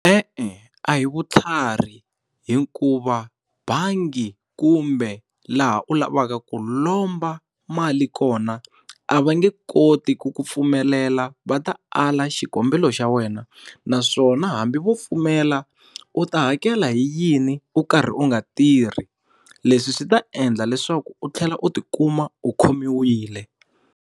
E-e, a hi vutlhari hikuva bangi kumbe laha u lavaka ku lomba mali kona, a va nge koti ku ku pfumelela va ta a la xikombelo xa wena naswona hambi vo pfumela u ta hakela hi yini u karhi u nga tirhi? Leswi swi ta endla leswaku u tlhela u ti kuma u khomiwile.